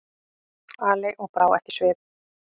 Ali og brá ekki svip.